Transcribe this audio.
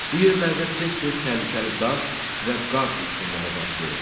Bu yerlərdə tez-tez təhlükəli daş və qar uçqunları baş verir.